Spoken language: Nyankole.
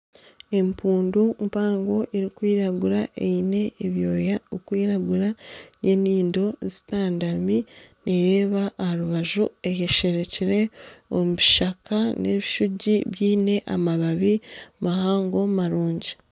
Empundu mpago munonga eine ebyoya birikwiragura nana enyindo zitandami nereeba aha rubaju etesherekire omu bishaka nana ebishugi biine amababi mahango marungi.